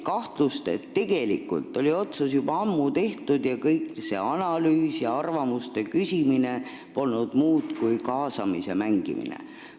Arvatakse, et tegelikult oli otsus juba ammu tehtud ning see analüüs ja arvamuste küsimine polnud muud kui kaasamise mängimine.